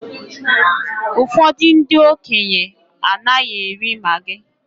Ụfọdụ ndị okenye anaghị eri maggi